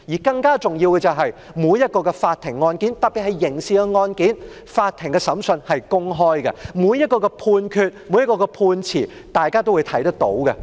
更重要的是，每一宗法庭案件，特別是刑事案件，法庭審訊應是公開的，每一項判決，大家均能看到。